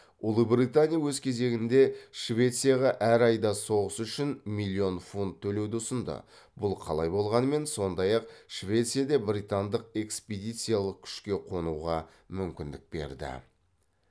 ұлыбритания өз кезегінде швецияға әр айда соғыс үшін миллион фунт төлеуді ұсынды бұл қалай болғанымен сондай ақ швецияда британдық экспедициялық күшке қонуға мүмкіндік берді